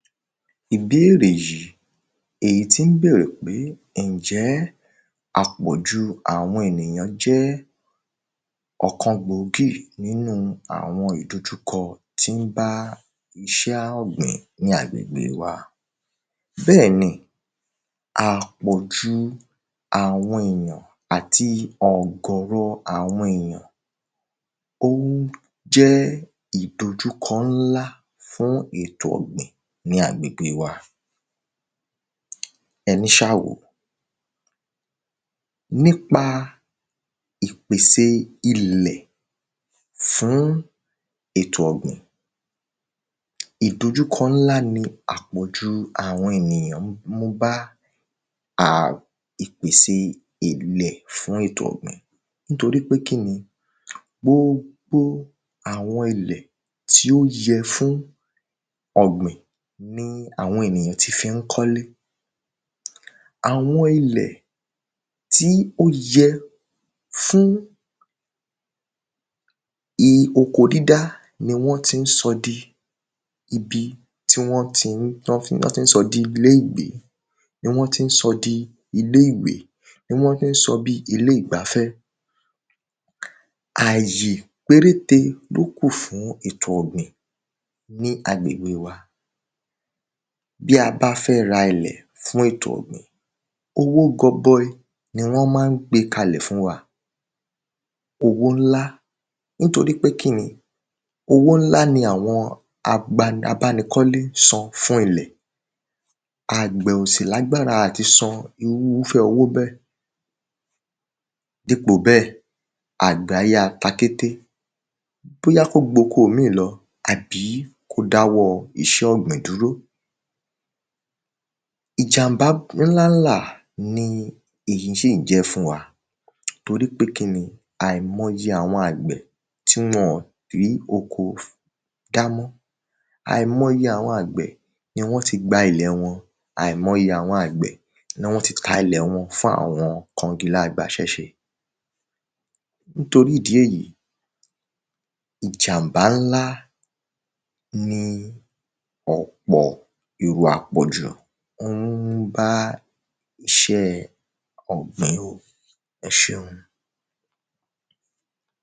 Ìbérè yìí èyí tí ń bèrè pé ǹjẹ́ àpọ̀jù àwọn ènìyàn jẹ́ ọ̀kan gbòógì nínú àwọn ìdojúkọ tí ń bá iṣẹ́ ọ̀gbìn ní agbègbè wa? Bẹ́ẹ̀ni àpọ̀jù àwọn èyàn àti ọ̀gọ̀rọ̀ àwọn èyàn ó ń jẹ́ ìdojúkọ ńlá fún ètò ọ̀gbìn ní agbègbè wa. Ẹníṣáàwòó nípa ìpèsè ilẹ̀ fún ètò ọ̀gbìn ìdojúkọ ńlá ni àpọ̀jù àwọn èyàn ń mú bá a ìpèsè ilẹ̀ fún ètò ọ̀gbìn nítorípé kíni gbogbo àwọn ilẹ̀ tí ó yẹ fún ọ̀gbìn ní àwọn ènìyàn tí fí ń kọ́lé àwọn ilẹ̀ tí ó yẹ fún i oko dídá ni wọ́n tí ń sọ di ibi tí wọ́n tán tí ń sọ di ilé ìgbé ni wọ́n tí ń sọ di ilé ìwé ni wọ́n tí ń sọ di ilé ìgbafẹ́ àyè péréte ló kù fún ètò ọ̀gbìn ní agbègbè wa. Bí a bá fẹ́ ra ilẹ̀ fún ètò ọ̀gbìn owó gọbọi ni wọ́n má ń gbé kalẹ̀ fún wa owó ńlá nítorípé kíni Owó ńlá ni àwọn abánikọ́lé san fún ilẹ̀ agbẹ̀ ò sì lágbára àti sọ irúfẹ́ owó bẹ́ẹ̀ dípò bẹ́ẹ̀ àgbẹ̀ á yá ta kété bóyá kó gboko míì lọ àbí kó dá iṣẹ́ ọ̀gbìn dúró ìjàḿbá ńlá ńlà ni èyí tún jẹ́ fún wa torípé kíni àìmọyẹ àwọn àgbẹ̀ tí wọn rí oko dá mọ́ àìmọyẹ àwọn àgbẹ̀ ni wọ́n ti gba ilẹ̀ wọn àìmọyẹ àwọn àgbẹ̀ ni wọ́n ti ta ilẹ̀ wọn fún àwọn kangilá agbaṣẹ́ ṣe. Nítorí ìdí èyí ìjàḿbá ńlá ni ọ̀pọ̀ ìwà àpọ̀jù ó ń mú bá iṣẹ́ ọ̀gbìn o ẹṣeun.